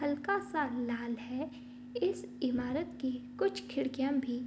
हल्का सा लाल है इस इमारत की कुछ खिड़कियाँ भी --